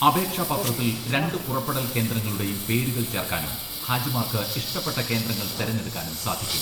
അപേക്ഷാ പത്രത്തിൽ രണ്ട് പുറപ്പെടൽ കേന്ദ്രങ്ങളുടെയും പേരുകൾ ചേർക്കാനും, ഹാജിമാർക്ക് ഇഷ്ടപ്പെട്ട കേന്ദ്രങ്ങൾ തിരഞ്ഞെടുക്കാനും സാധിക്കും.